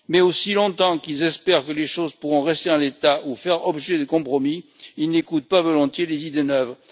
Mais aussi longtemps qu'ils espèrent que les choses pourront rester en l'état ou faire l'objet de compromis, ils n'écoutent pas volontiers les idées neuves.